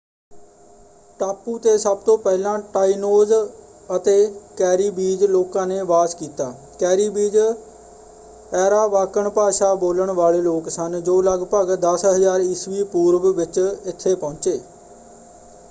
ਟਾਪੂ ‘ਤੇ ਸਭ ਤੋਂ ਪਹਿਲਾਂ ਟਾਈਨੋਜ਼ ਅਤੇ ਕੈਰੀਬੀਜ਼ ਲੋਕਾਂ ਨੇ ਵਾਸ ਕੀਤਾ। ਕੈਰੀਬੀਜ਼ ਐਰਾਵਾਕਨ ਭਾਸ਼ਾ ਬੋਲਣ ਵਾਲੇ ਲੋਕ ਸਨ ਜੋ ਲਗਭਗ 10,000 ਈ.ਪੂ. ਵਿੱਚ ਇੱਥੇ ਪਹੁੰਚੇ।